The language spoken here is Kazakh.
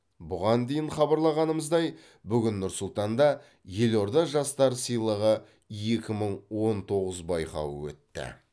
бұған дейін хабарлағанымыздай бүгін нұр сұлтанда елорда жастары сыйлығы екі мың он тоғыз байқауы өтті